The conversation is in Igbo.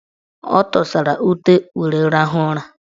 Ọ tụsara ute were rahụ ụra.